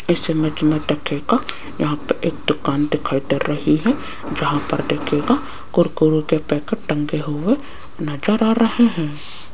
इस इमेज मे देखिएगा यहां पे एक दुकान दिखाई दे रही है जहां पर देखिएगा कुरकुरे के पैकेट टंगे हुए नजर आ रहे हैं।